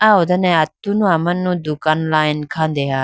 ah ho done atunu amanu dukan line khandeha.